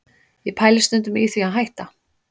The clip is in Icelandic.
Ég pæli stundum í því að hætta